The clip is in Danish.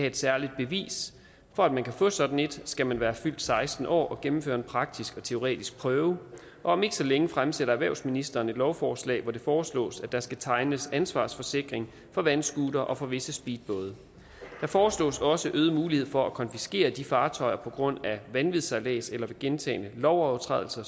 et særligt bevis for at man kan få et sådan et skal man være fyldt seksten år og gennemføre en praktisk og teoretisk prøve om ikke så længe fremsætter erhvervsministeren et lovforslag hvor det foreslås at der skal tegnes en ansvarsforsikring for vandscootere og for visse speedbåde der foreslås også øget mulighed for at konfiskere de fartøjer på grund af vanvidssejlads eller ved gentagne lovovertrædelser